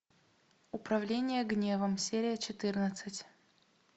управление гневом серия четырнадцать